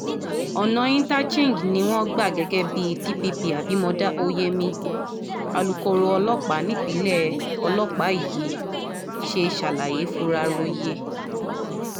ọ̀nà inter change ni wọ́n gbà gẹ́gẹ́ bí dpp abimodá oyemi alūkkoro ọlọ́pàá nípìnlẹ̀ ọlọ́pàá nípìnlẹ̀ yìí ṣe ṣàlàyé furaroye